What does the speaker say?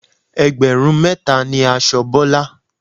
Ẹgbẹ̀rún mẹ́ta ni aṣọ Bọ́lá.